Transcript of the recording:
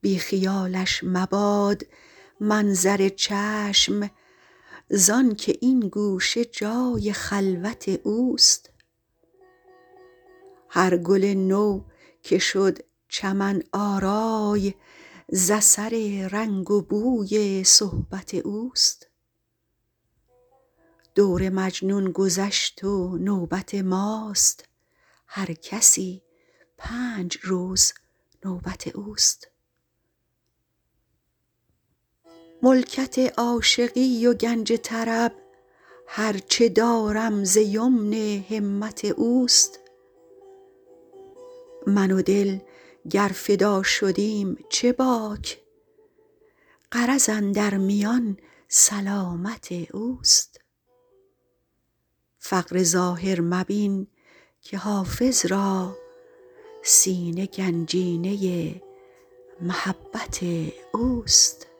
بی خیالش مباد منظر چشم زآن که این گوشه جای خلوت اوست هر گل نو که شد چمن آرای ز اثر رنگ و بوی صحبت اوست دور مجنون گذشت و نوبت ماست هر کسی پنج روز نوبت اوست ملکت عاشقی و گنج طرب هر چه دارم ز یمن همت اوست من و دل گر فدا شدیم چه باک غرض اندر میان سلامت اوست فقر ظاهر مبین که حافظ را سینه گنجینه محبت اوست